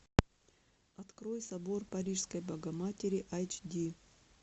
открой собор парижской богоматери айч ди